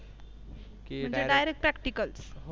Direct Practicle